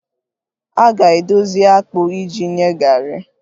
A ga-edozi akpụ iji nye garri